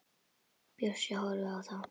Bjössi horfir á þá.